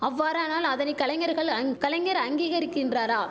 அவ்வாறானால் அதனை கலைஞர்கள் அங் கலைஞர் அங்கீகரிக்கின்றாரா